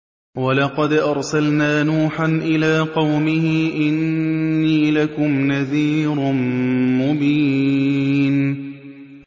وَلَقَدْ أَرْسَلْنَا نُوحًا إِلَىٰ قَوْمِهِ إِنِّي لَكُمْ نَذِيرٌ مُّبِينٌ